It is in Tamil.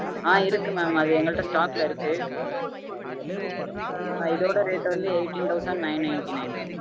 ஆஹ் இருக்கு mam அது எங்க கிட்ட stock ல இருக்கு ஹான் இதோட rate வந்து eighteen thousand nine ninty-nine